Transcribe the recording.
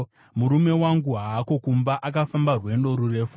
Murume wangu haako kumba, akafamba rwendo rurefu.